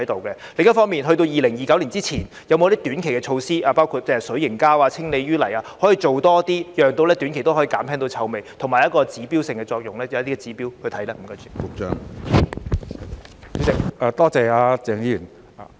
另一方面，在2029年之前有否短期措施，包括使用氣味控制水凝膠和清理污泥，多做一些工作，令短期內也可以減輕臭味，以及有指標性的作用，可以按一些指標作出檢視呢？